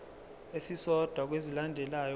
esisodwa kwezilandelayo ubhale